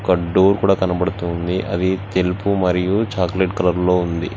ఒక డోర్ కూడా కనబడుతుంది అది తెలుపు మరియు చాక్లెట్ కలర్ లో ఉంది.